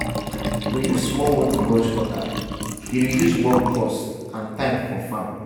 to use small motor brush cutter dey reduce work cost and time for farm.